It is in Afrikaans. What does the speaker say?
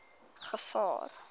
gevaar